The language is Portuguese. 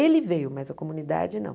Ele veio, mas a comunidade não.